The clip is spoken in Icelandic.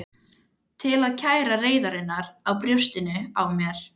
Til að kæla reiðina í brjóstinu á mér.